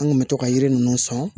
An kun bɛ to ka yiri ninnu sɔn